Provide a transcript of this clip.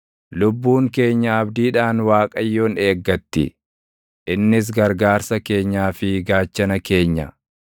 Lubbuun keenya abdiidhaan Waaqayyoon eeggatti; innis gargaarsa keenyaa fi gaachana keenya.